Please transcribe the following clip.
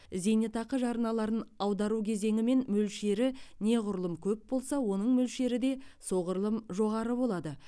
зейнетақы жарналарын аудару кезеңі мен мөлшері неғұрлым көп болса оның мөлшері де соғұрлым жоғары болады